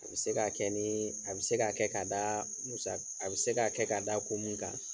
A bɛ se k'a kɛ nii a bɛ se ka kɛ ka daa musak a bɛ se k'a kɛ ka da kun mun kan